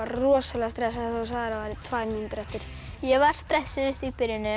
rosalega stressaður þegar þú sagðir að væri tvær mínútur eftir ég var stressuð í byrjun